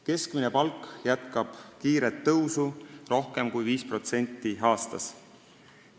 Keskmine palk jätkab kiiret tõusu, rohkem kui 5% aastas.